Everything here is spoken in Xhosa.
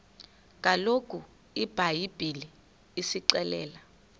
kaloku ibhayibhile isixelela